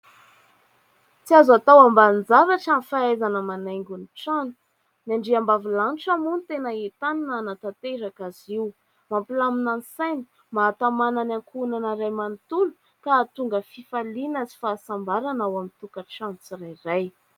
Tsy azo atao ambanin-javatra ny fahaizana manaingo ny trano; ny andriambavilanitra moa no tena entanina anatanteraka azy io, mampilamina ny saina, mahatamanana ny ankohonana iray manontolo ka hahatonga fifaliana sy fahasambarana ao amin'ny tokantrano tsirairay.